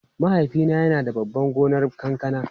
Mahaifina yana da babban gonar kankana.